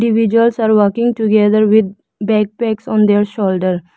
Individuals are walking together with backpacks on their shoulders.